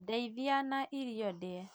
Ndeithiai na ĩrio ndĩe